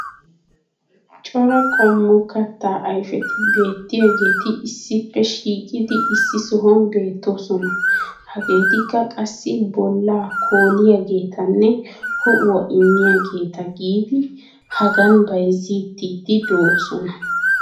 cora qommo kattaa ayfetti beetiyaageeti issippe shiiqqidi issi sohuwan beetoosona. hageetikka qassi bolaa koolliyaageetanne ho'uwa immiyaageeta gidi hagan bayzzetiidi doosona.